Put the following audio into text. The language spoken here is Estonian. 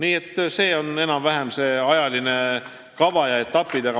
Selline on enam-vähem see ajakava ja need etapid.